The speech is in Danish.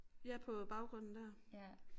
Ja på baggrunden der